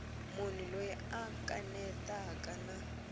munhu loyi a kanetaka na